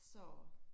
Så